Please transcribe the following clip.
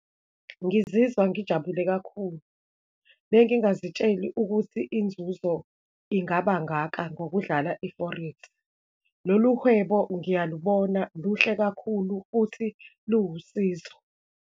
Ngizizwa ngijabule kakhulu, bengingazitsheli ukuthi inzuzo ingaba ngaka ngokudlala i-forex. Lolu hwebo ngiyalubona, luhle kakhulu, futhi luwusizo.